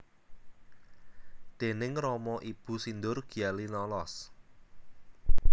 Déning rama ibu sindur gya linolos